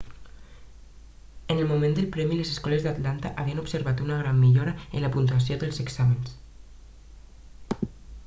en el moment del premi les escoles d'atlanta havien observat una gran millora en la puntuació dels exàmens